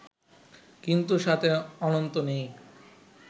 কিন্তু সাথে অনন্ত নেই